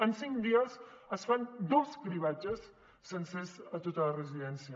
en cinc dies es fan dos cribratges sencers a tota la residència